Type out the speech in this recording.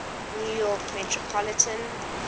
new york metropolitan